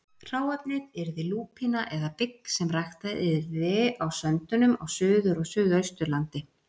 Hráefnið yrði lúpína eða bygg sem ræktað yrði á söndunum á Suður- og Suðausturlandi.